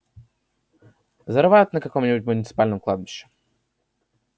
зарывают на каком-нибудь муниципальном кладбище